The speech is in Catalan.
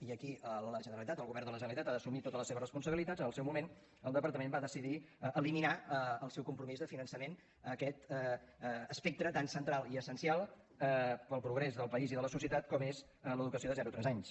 i aquí la generalitat el govern de la generalitat ha d’assumir totes les seves responsabilitats en el seu moment el departament va decidir eliminar el seu compromís de finançament a aquest espectre tan central i essencial per al progrés del país i de la societat com és l’educació de zero a tres anys